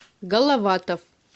головатов